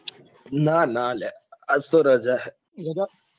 નાં નાં લ્યા આજ તો રાજા હે